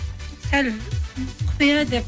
сәл құпия деп